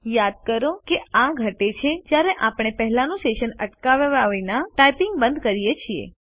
યાદ કરો કે આ ઘટે છે જયારે આપણે પેહલા નું સેશન અટકાવવા વિના ટાઇપિંગ બંધ કરીએ છીએ